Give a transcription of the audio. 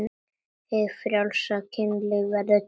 Hið frjálsa kynlíf verður til.